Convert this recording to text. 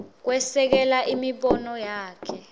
kwesekela imibono yakhe